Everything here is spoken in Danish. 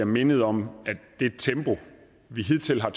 mindet om at det tempo vi hidtil har